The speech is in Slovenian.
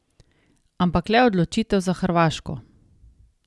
Ampak le odločitev za Hrvaško.